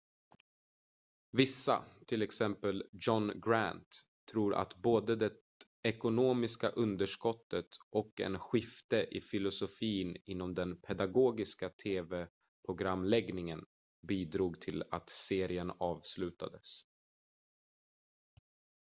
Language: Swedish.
vissa till exempel john grant tror att både det ekonomiska underskottet och en skifte i filosofin inom den pedagogiska tv-programläggningen bidrog till att serien avslutades